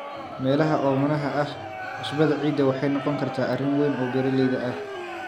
Meelaha oomanaha ah, cusbada ciidda waxay noqon kartaa arrin weyn oo beeralayda ah.